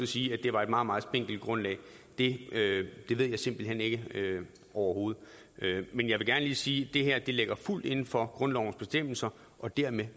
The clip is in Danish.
sige at det var meget meget spinkelt grundlag det det ved jeg simpelt hen overhovedet ikke men jeg vil gerne lige sige at det her ligger fuldt inden for grundlovens bestemmelser og dermed